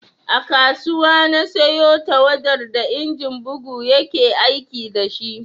A kasuwa na siyo tawadar da injin bugu ya ke aiki da shi